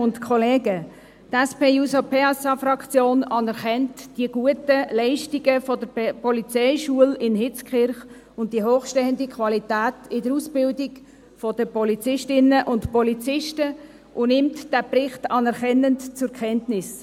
Die SP-JUSO-PSA-Fraktion anerkennt die guten Leistungen der Polizeischule in Hitzkirch sowie die hochstehende Qualität in der Ausbildung der Polizistinnen und Polizisten und nimmt diesen Bericht anerkennend zur Kenntnis.